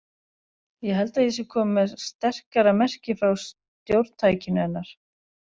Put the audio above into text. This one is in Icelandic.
Ég held að ég sé komin með sterkara merki frá stjórntækinu hennar.